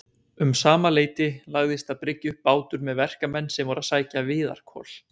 Um sama leyti lagðist að bryggju bátur með verkamenn sem voru að sækja viðarkol.